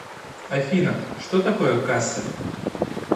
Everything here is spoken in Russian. афина что такое кассель